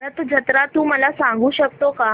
रथ जत्रा तू मला सांगू शकतो का